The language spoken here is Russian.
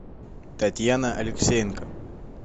татьяна алексеенко